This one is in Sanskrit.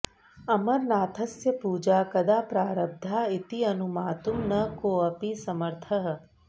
अमरनाथस्य पूजा कदा प्रारब्धा इति अनुमातुं न कोऽपि समर्थः